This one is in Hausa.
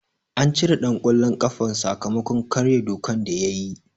An cire ɗan ƙwallon ƙafan sakamakon karye dokan da yayi.